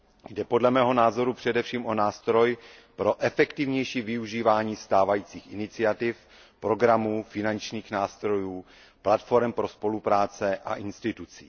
Jde podle mého názoru především o nástroj pro efektivnější využívání stávajících iniciativ, programů, finančních nástrojů, platforem pro spolupráce a institucí.